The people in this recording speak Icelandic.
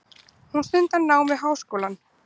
Hún stundar nám við háskólann.